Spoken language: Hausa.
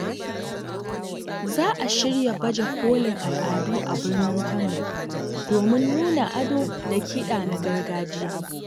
Za a shirya baje kolin al’adu a birnin Kano domin nuna ado da kiɗa na gargajiya.